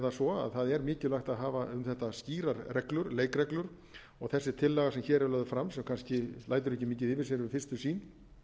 það svo að það er mikilvægt að hafa um þetta skýrar reglur leikreglur þessi tillaga sem hér er lög fram sem kannski lætur ekki mikið yfir sér við fyrstu sýn